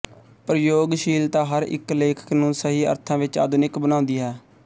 ਪ੍ਰਯੋਗਸ਼ੀਲਤਾ ਹਰ ਇੱਕ ਲੇਖਕ ਨੂੰ ਸਹੀ ਅਰਥਾਂ ਵਿੱਚ ਆਧੁਨਿਕ ਬਣਾਉਦੀਂ ਹੈ